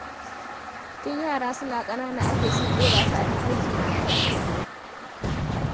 Tun yara suna ƙanana ake son ɗora su a tafarki mai kyau.